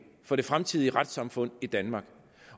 for det fremtidige retssamfund i danmark